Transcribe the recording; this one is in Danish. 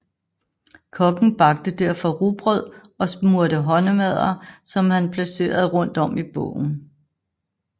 Kokken bagte derfor rugbrød og smurte håndmadder som han placerede rundt om i båden